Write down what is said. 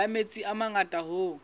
la metsi a mangata hoo